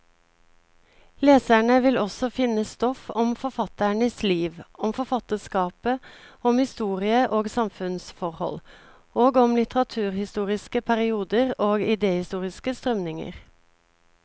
Leserne vil også finne stoff om forfatternes liv, om forfatterskapet, om historie og samfunnsforhold, og om litteraturhistoriske perioder og idehistoriske strømninger.